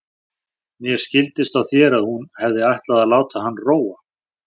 Mér skildist á þér að hún hefði ætlað að láta hann róa.